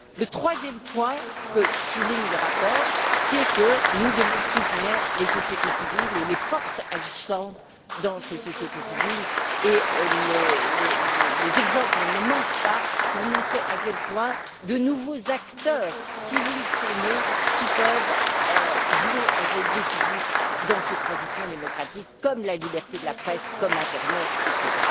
Le troisième point que souligne le rapport, c'est que nous devons soutenir les sociétés civiles et les forces agissantes dans ces sociétés civiles, et les exemples ne manquent pas pour montrer à quel point de nouveaux acteurs civils sont nés, qui peuvent jouer un rôle décisif dans ces transitions démocratiques comme une presse libre, comme l'internet, etc.,